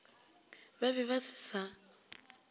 ba be ba se sa